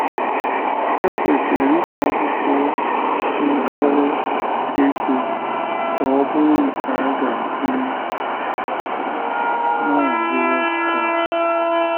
É kwesịrị ide akwụkwọ ndọrọ ego ka ọ bụrụ nke a ga - akwụnye “ Mazi Watch Tower. ”